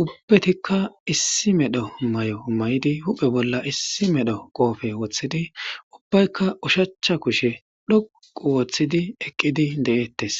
ubbatika issi medho mayo mayidi huphe bolla issi medho qoofe woththidi ubbayka oshacha kushe dhoqqu oothidi eqqidi de'eetees.